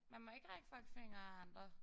Man må ikke række fuckfinger af andre